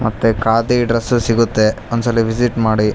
ಮತ್ತೆ ಖಾದಿ ಡ್ರೆಸ್ ಸಿಗುತ್ತೆ ಒಂದ್ಸಲಿ ವಿಸಿಟ್ ಮಾಡಿ .